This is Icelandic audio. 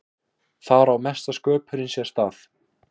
þar á mesta sköpunin sér stað